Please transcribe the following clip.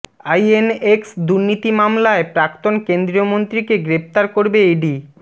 INX দুর্নীতি মামলায় প্রাক্তন কেন্দ্রীয় মন্ত্রীকে গ্রেফতার করবে ইডি